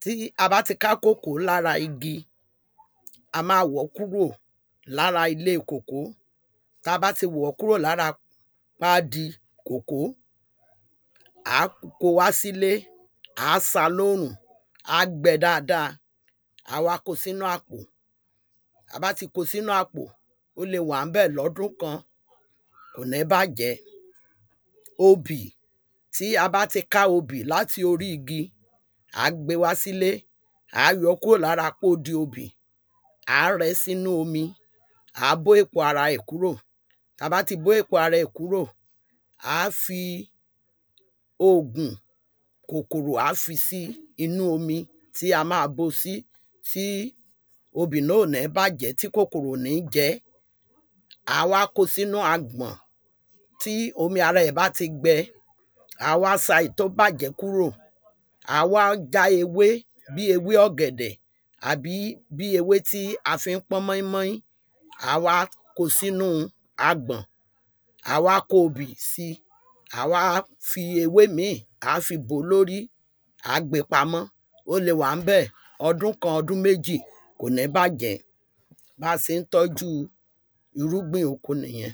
tí a bá ti ká kòkó lára igi a má wọ̀ kúrò lára ilé kòkó tá bá ti wọ̀ ọ́ kúrò lára ilé kòkó à á kó wá sílé à á sá lórùn á gbẹ dáada á wá kó sinú àkpò tá bá ti kó sinú àpò ó le wà ńbẹ̀ lọ́dún kan kò ní bàjẹ́. Obì tí a bá ti ká obì láti oɹí igi à á gbé wásílé à á yọ́ lára pódi obì à á rẹ́ sínú omi à á bó èpo aɹa ẹ̀ kúrò tá bá ti bó èpo ara rẹ̀ kúrò à á fi ogùn kòkòrò à á fi sí inú omi tí a má bó sí tí obì náà ò ní bàjẹ́ tí kòkòrò ò ní jẹ́ à á wá kó sínú agbọ̀n. Tí omi ara ẹ̀ bá ti gbẹ à á wá sa èyí tí ó bàjẹ́ kúrò à á wá já ewé bí ewé ọ̀gẹ̀dẹ̀ àbí bí ewé tí a fi ń pọ́n móínmóín à á wá kó sínú agbọ̀n à á kó obì sí à á wá kó ewé mí à á fi bò lórí à á gbé pamọ́ ó le wà ńbẹ̀ ọdún kan ọdún méjì kò ní bàjẹ́ bá se ń tọ́jú irúgbìn oko nìyẹn.